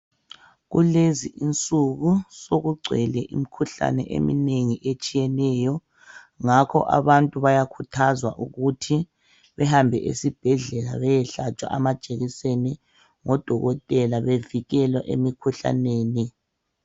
kulezi insuku sokugcwele imkhuhlane emnengi esthiyeneyo ngakho abantu bayakhuthazwa ukuthi behambe esibhedlela beyehlatshwa amajekiseni ngodokotela bevikelwa emikhuhlaneni